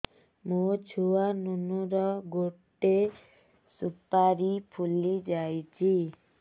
ମୋ ଛୁଆ ନୁନୁ ର ଗଟେ ସୁପାରୀ ଫୁଲି ଯାଇଛି